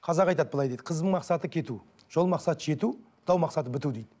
қазақ айтады былай дейді қыздың мақсаты кету жол мақсаты жету дау мақсаты біту дейді